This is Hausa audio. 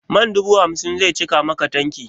Man dubu hamsin zai cika maka tanki?